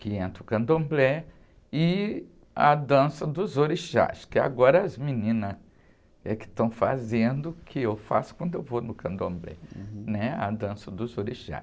que entra o candomblé e a dança dos orixás, que agora as meninas é estão fazendo, que eu faço quando eu vou no candomblé, né? A dança dos orixás.